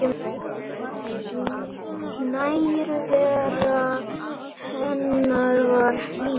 Nærvera hennar var hlý.